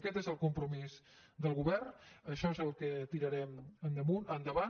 aquest és el compromís del govern això és el que tirarem endavant